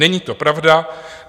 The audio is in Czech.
Není to pravda.